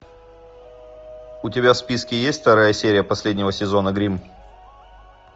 у тебя в списке есть вторая серия последнего сезона гримм